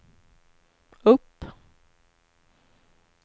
upp